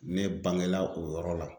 Ne bangela o yɔrɔ la.